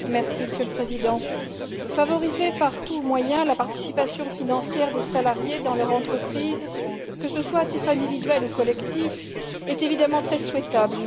Monsieur le Président, favoriser par tous les moyens la participation financière des salariés à leur entreprise, que ce soit à titre individuel ou collectif, est évidemment très souhaitable.